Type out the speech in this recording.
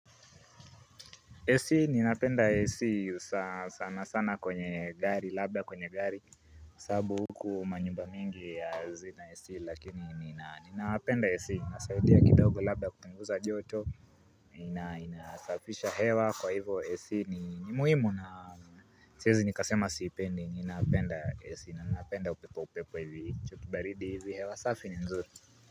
AC ninapenda AC sana sana kwenye gari labda kwenye gari sababu huku manyumba mingi hazina AC lakini ninapenda AC inasaidia kidogo labda kupunguza joto inasafisha hewa kwa hivo AC ni muhimu na siezi nikasema siipendi ninapenda AC na ninapenda upepo upepo hivi hicho baridi hivi hewa safi ni nzuri.